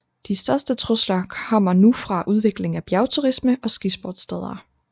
De største trusler kommer nu fra udviklingen af bjergturisme og skisportssteder